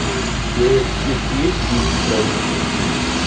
у тебя в списке есть кинчик праздник любви